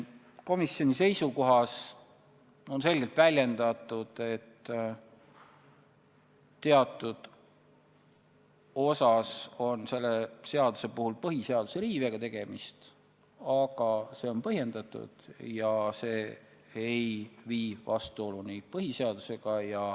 Komisjoni seisukohas on selgelt väljendatud, et teatud osas on selle seaduse puhul tegemist põhiseaduse riivega, aga see on põhjendatud ega vii vastuoluni põhiseadusega.